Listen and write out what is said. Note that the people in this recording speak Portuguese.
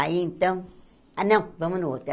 Aí, então... Ah, não, vamos no outro.